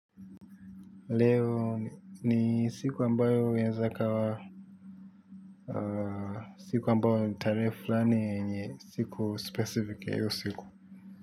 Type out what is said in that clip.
Leo ni siku ambayo inaweza ikawa siku ambayo ni tarehe fulani siku specific ya hiyo siku.